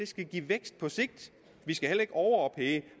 skal give vækst på sigt vi skal heller ikke overophede